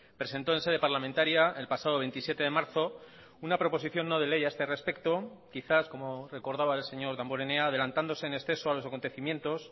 presentó en sede parlamentaria el pasado veintisiete de marzo una proposición no de ley a este respecto quizás como recordaba el señor damborenea adelantándose en exceso a los acontecimientos